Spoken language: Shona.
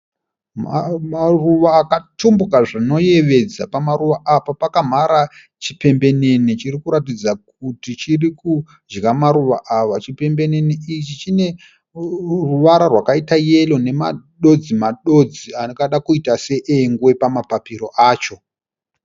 Maruva akatumbuka zvinoyevadza pamaruva apa pakamhara chimbenene chirikuratidza kuti chirikudya maruva ava. Chimbenene ichi chineruvara rwakaita yero nemadodzi-madodzi angada kuita seengwe pamapapiro acho.